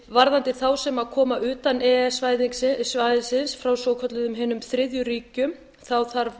varðandi þá sem koma utan e e s svæðisins frá svokölluðum hinum þriðju ríkjum þarf